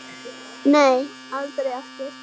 Nei, aldrei aftur.